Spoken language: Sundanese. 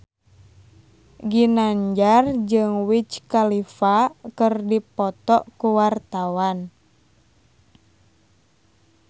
Ginanjar jeung Wiz Khalifa keur dipoto ku wartawan